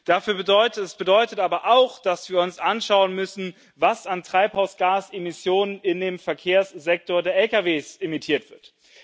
Das bedeutet aber auch, dass wir uns anschauen müssen, was an Treibhausgasemissionen in dem Verkehrssektor der Lkw emittiert wird.